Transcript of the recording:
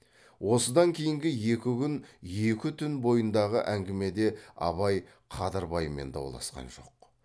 осыдан кейінгі екі күн екі түн бойындағы әңгімеде абай қадырбаймен дауласқан жоқ